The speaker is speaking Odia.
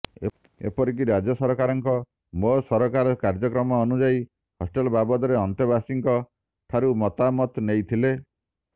ଏପରିକି ରାଜ୍ୟ ସରକାରଙ୍କ ମୋ ସରକାର କାର୍ୟ୍ୟକ୍ରମ ଅନୁଯାୟୀ ହଷ୍ଟେଲ ବାବଦରେ ଅନ୍ତେବାସୀଙ୍କ ଠାରୁ ମତାମତ ନେଇଥିଲେ